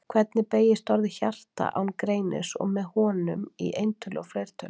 Hvernig beygist orðið hjarta án greinis og með honum, í eintölu og fleirtölu?